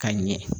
Ka ɲɛ